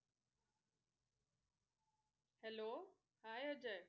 Hello hi Ajay.